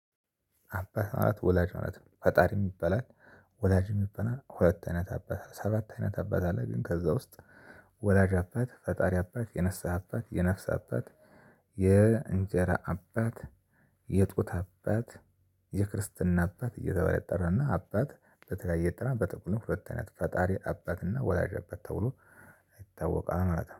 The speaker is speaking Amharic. አባት ማለት ወላጅ ማለት ነው። ፈጣሪ ይበላል፣ ወላጅ ይበላል፣ ሁለት አይነት አባት አለ። ሰባት አይነት አባት አለ፣ ግን ከዛ ውስጥ ወዳጅ አባት፣ ፈጣሪ አባት፣ የንሳህ አባት፣ የነፍስ አባት፣ የእንጀራ አባት፣ የጡት አባት፣ የክርስትና አባት እየተባለ ይጠራል እና አባት በተለያየ ጥናት በጥቅሉ ሁለት አይነት ነው። ፈጣሪ አባትና ወላጅ አባት ተብሎ ይታወቃል ማለት ነው።